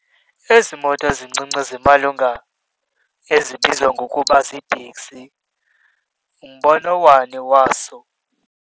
Ezi moto zincinci zimalunga ezibizwa ngokuba ziitekisi, umbono wani waso.